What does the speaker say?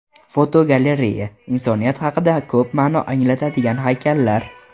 Fotogalereya: Insoniyat haqida ko‘p ma’no anglatadigan haykallar.